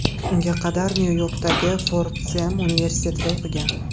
Unga qadar Nyu-Yorkdagi Fordxem universitetida o‘qigan.